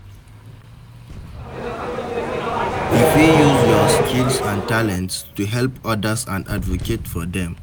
You fit use your skills and talents to help odas and advocate for dem.